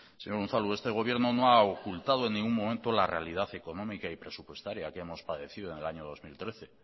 señor unzalu este gobierno no ha ocultado en ningún momento la realidad económica y presupuestaria que hemos padecido en el año dos mil trece